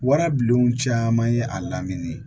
Warabilenw caman ye a lamini